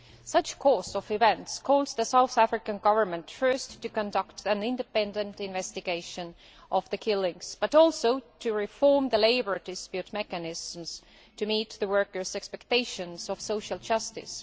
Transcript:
Such a course of events requires the South African Government first to conduct an independent investigation into the killings, but also to reform the labour dispute mechanisms to meet the workers' expectations of social justice.